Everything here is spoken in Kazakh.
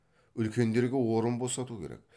үлкендерге орын босату керек